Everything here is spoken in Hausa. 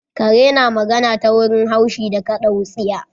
Kare na magana ta wurin haushe da kada wutsiya